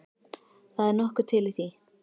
Það er nokkuð til í því.